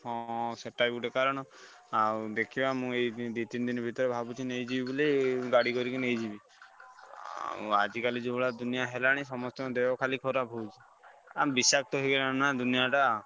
ହଁ ହଁ ସେଟା ଗୋଟେ କାରଣ ଆଉ ଦେଖିବା ମୁଁ ଏଇ ଦି ତିନି ଦିନି ଭିତରେ ଭାବୁଛି ନେଇଯିବି ବୋଲି ଗାଡି କରିକି ନେଇଯିବି। ଅ ଆଜିକାଲି ଯୋଉଭଳିଆ ଦୁନିଆ ହେଲାଣି ସମସ୍ତଙ୍କ ଦେହ ଖାଲି ଖରାପ ହଉଛି। ଆଁ ବିଷାକ୍ତ ହେଇଗଲାଣି ନା ଦୁନିଆ ଟା।